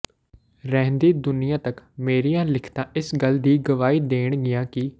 ਰਹਿੰਦੀ ਦੁਨੀਆਂ ਤਕ ਮੇਰੀਆਂ ਲਿਖਤਾਂ ਇਸ ਗੱਲ ਦੀ ਗਵਾਹੀ ਦੇਣਗੀਆਂ ਕਿ ਡਾ